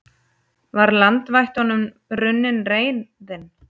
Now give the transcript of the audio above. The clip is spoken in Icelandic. Var landvættunum runnin reiðin?